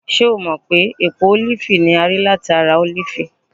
ṣe o mọ pe epo olifi ni a ri lati olifi?